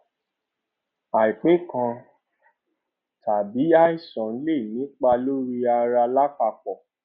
àìpé kan tàbí àìsàn lè nípa lórí ara lápapọ